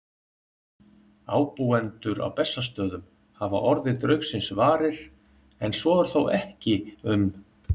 Ábúendur á Bessastöðum hafa orðið draugsins varir, en svo er þó ekki um